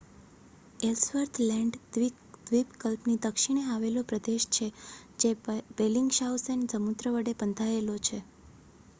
Ellsworth land દ્વીપકલ્પની દક્ષિણે આવેલો પ્રદેશ છે જે બેલિંગશાઉસેન સમુદ્ર વડે બંધાયેલો છે